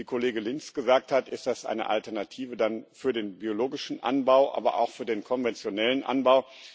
Wie Kollege Lins gesagt hat, ist das eine Alternative für den biologischen Anbau, aber auch für den konventionellen Anbau.